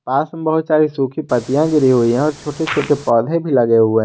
पास में बहुत सारी सूखी पत्तियां गिरी हुईं हैं और छोटे छोटे पौधे भी लगे हुए--